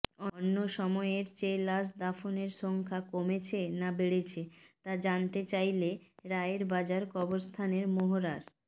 অন্য সময়ের চেয়ে লাশ দাফনের সংখ্যা কমেছে না বেড়েছে তা জানতে চাইলে রায়েরবাজার কবরস্থানের মোহরার